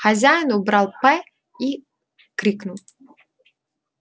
хозяин убрал п и крикнул